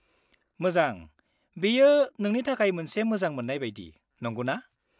-मोजां, बेयो नोंनि थाखाय मोनसे मोजांमोन्नाय बायदि, नंगौना?